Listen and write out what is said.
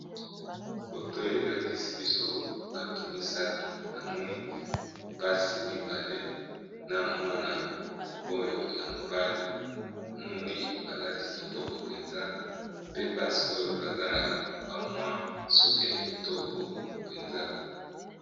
Foto oyo elakisi biso bato misato namoni basi mibale na mwana oyo ya mobali, namoni balati kitoko mpenza pe basi oyo baza na ba mwa suki ya kitoko mpenza.